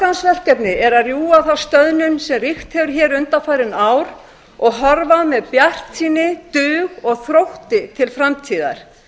forgangsverkefni er að rjúfa þá stöðnun sem ríkt hefur hér undanfarin ár og horfa með bjartsýni dug og þrótti til framtíðar